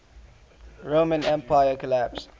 roman empire collapsed